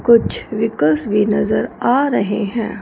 कुछ व्हीकल्स भी नजर आ रहे हैं।